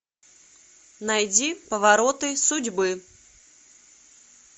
найди повороты судьбы